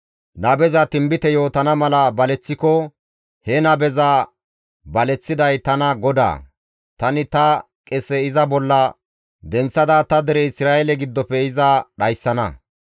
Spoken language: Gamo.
« ‹Nabeza tinbite yootana mala baleththiko, he nabeza baleththiday tana GODAA; tani ta qese iza bolla denththada ta dere Isra7eele giddofe iza dhayssana.